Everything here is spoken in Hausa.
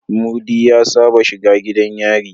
Mudi ya Saba shiga gidan yari